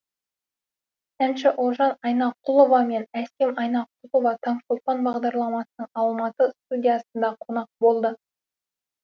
әнші ұлжан айнақұлова мен әсем айнақұлова таңшолпан бағдарламасының алматы студиясында қонақ болды